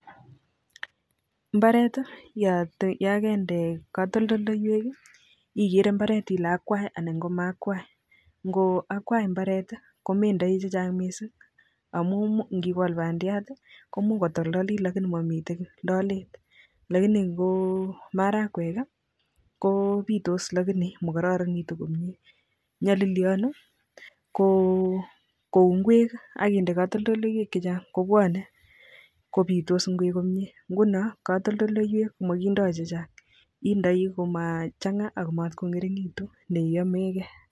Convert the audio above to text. Mbaret yoon kende katoldoleiwek ikere imbaret ilee akwaii anan ko maa akwai, ng'o akwai imbaret komendoi chechang mising amun ndikol bandiat komuch kotoldolit lakini momiten kii lolet lakini ko marakwek ko bitos lakini mikororonitu komiee nyolilionu ko kouu ing'wek ak indee katoldoleiwek chechang kobwone kobitos ing'wek, ng'unon katoldoleiwek komokindo chechang indoi komachanga akoo mot ko ng'ering'ekitun neyomekee.